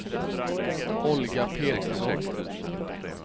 Olga Petersson